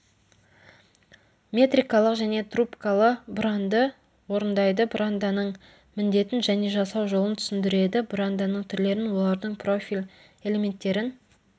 метрикалық және трубкалы бұранды орындайды бұранданың міндетін және жасау жолын түсіндіреді бұранданың түрлерін олардың профиль элементтерін